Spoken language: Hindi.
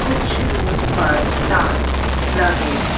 कुछ रूम पर ताले लगे हैं।